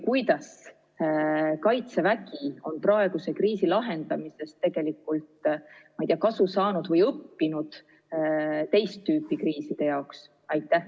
Kuidas Kaitsevägi on praeguse kriisi lahendamisel, ma ei tea, kasu saanud või õppinud valmisolekut ka teist tüüpi kriisideks?